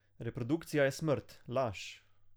Reprodukcija je smrt, laž.